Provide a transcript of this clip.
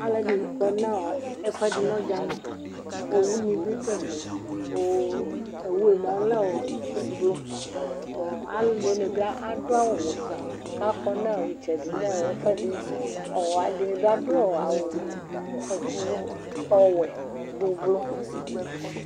Aluɛdini kɔ nu ɛfuɛdi nu ɔdzani owuni bi du ɛfɛ owu nu lɛ ublualuɛdini adu awu wɛ ku akɔ nu itsɛdi nu ɛfuɛdi uhadini bi adu awu wɛ ublu